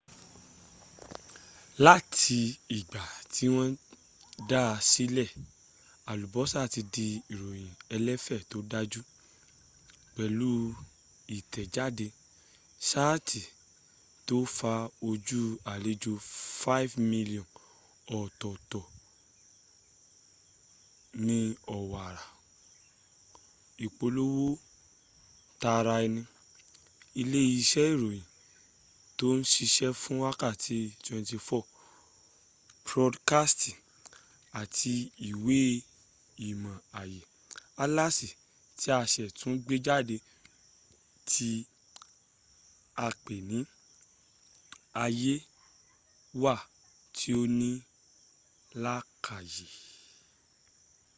láti ìgbà tí wọ́n dáa sílẹ̀ alubosa ti di ìròyìn ẹlẹ́fẹ́ tó dáju pẹ̀lú ìtẹ̀jáde saiti to fa ojú alejò 5,000,000 ọ̀tọ̀tọ̀ ní owara ipolowo tara eni ilé iṣẹ́ ìròyìn tò ṣiṣe fún wákàtí 24 podkasti àti ìwé ìmọ̀ ayé - atlasi ti a ṣẹ̀ tún gbéjáde tí apé ni aye wa tí ò ní làakáyè